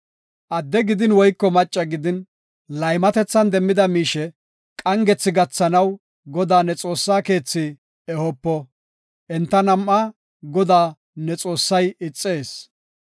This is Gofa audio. Adde gidin woyko maccas gidin, laymatethan demmida miishe qaangethi gathanaw Godaa ne Xoossaa keethi ehopo. Enta nam7aa Goday ne Xoossay ixees.